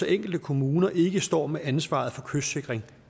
enkelte kommuner ikke står med ansvaret for kystsikring